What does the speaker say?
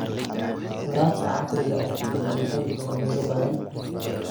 Waraabka casriga ah lagama heli karo meelo badan.